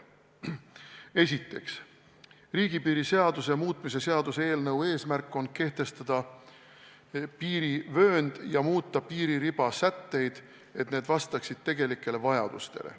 Esiteks, riigipiiri seaduse muutmise seaduse eelnõu eesmärk on kehtestada piirivöönd ja muuta piiririba sätteid, et need vastaksid tegelikele vajadustele.